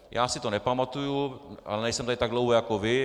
Já si to nepamatuji, ale nejsem tady tak dlouho jako vy.